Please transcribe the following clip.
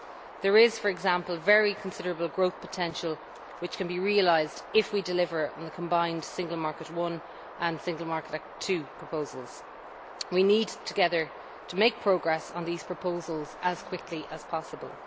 There is, for example, very considerable growth potential which can be realised if we deliver on the combined proposals of Single Market Act I and Single Market Act II. We need together to make progress on these proposals as quickly as possible.